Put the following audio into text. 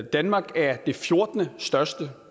danmark er det fjortende største